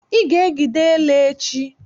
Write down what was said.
I ga-ejide ele nchi!